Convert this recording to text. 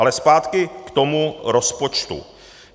A zpátky k tomu rozpočtu.